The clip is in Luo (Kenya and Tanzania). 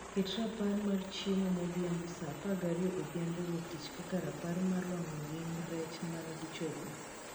ket rapar mar chiemo modhiambo saa apargariyo odhiambo wuok tich kaka rapar mar wango ring' rech man gi chogo